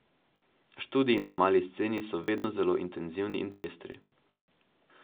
Študiji na Mali sceni so vedno zelo intenzivni in pestri.